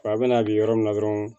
A bɛna kɛ yɔrɔ min na dɔrɔn